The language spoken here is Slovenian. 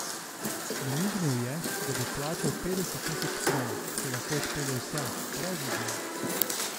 Namignil je, da bo plačal petdeset tisoč kron, če lahko odpelje vse, brez izjem.